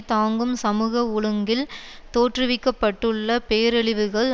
தாங்கும் சமூக ஒழுங்கில் தோற்றுவிக்க பட்டுள்ள பேரழிவுகள்